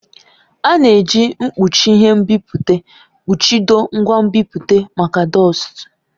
A na-eji mkpuchi ihe nbipute kpuchido ngwa nbipute maka dọstu.